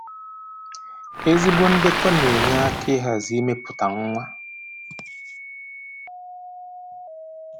Ezigbo ndekọ na-enye aka ịhazi imepụta nwa